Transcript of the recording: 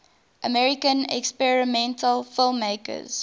american experimental filmmakers